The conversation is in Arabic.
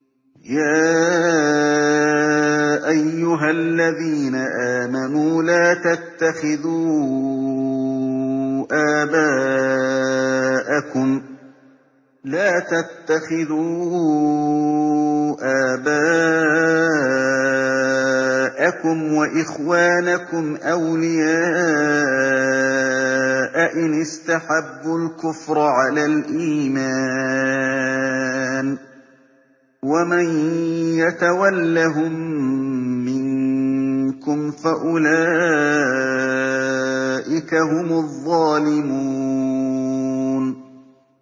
يَا أَيُّهَا الَّذِينَ آمَنُوا لَا تَتَّخِذُوا آبَاءَكُمْ وَإِخْوَانَكُمْ أَوْلِيَاءَ إِنِ اسْتَحَبُّوا الْكُفْرَ عَلَى الْإِيمَانِ ۚ وَمَن يَتَوَلَّهُم مِّنكُمْ فَأُولَٰئِكَ هُمُ الظَّالِمُونَ